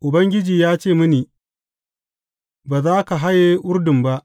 Ubangiji ya ce mini, Ba za ka haye Urdun ba.’